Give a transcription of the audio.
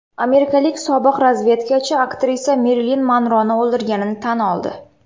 Amerikalik sobiq razvedkachi aktrisa Merilin Monroni o‘ldirganini tan oldi.